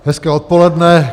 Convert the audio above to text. Hezké odpoledne.